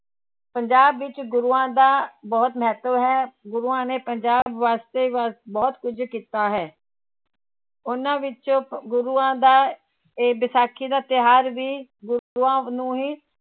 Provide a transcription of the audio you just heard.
ਪੰਜਾਬ ਵਿੱਚ ਗੁਰੂਆਂ ਦਾ ਬਹੁਤ ਮਹੱਤਵ ਹੈ ਗੁਰੂਆਂ ਨੇ ਪੰਜਾਬ ਵਾਾਸਤੇ ਵਾ ਬਹੁਤ ਕੁੱਝ ਕੀਤਾ ਹੈ ਉਹਨਾਂ ਵਿੱਚੋਂ ਗੁਰੂਆਂ ਦਾ ਇਹ ਵਿਸਾਖੀ ਦਾ ਤਿਉਹਾਰ ਵੀ ਗੁਰੂਆਂ ਨੂੰ ਹੀ